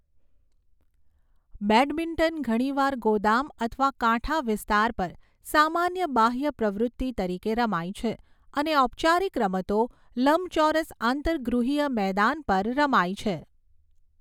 Badminton ઘણીવાર ગોદામ અથવા કાંઠા વિસ્તાર પર સામાન્ય બાહ્ય પ્રવૃત્તિ તરીકે રમાય છે, અને ઔપચારિક રમતો લંબચોરસ આંતરગૃહીય મેદાન પર રમાય છે.